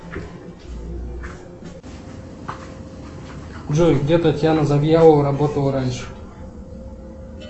джой где татьяна завьялова работала раньше